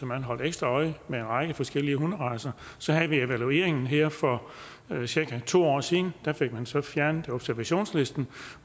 man holdt ekstra øje med en række forskellige hunderacer så havde vi evalueringen her for cirka to år siden og der fik vi så fjernet observationslisten